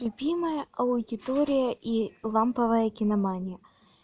любимая аудитория и ламповая киномания